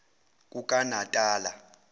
kukanatala